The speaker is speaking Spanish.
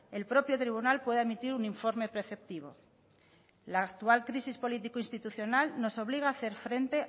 el propio tribunal pueda emitir un informe preceptivo la actual crisis político institucional nos obliga a hacer frente